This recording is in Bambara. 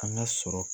An ka sɔrɔ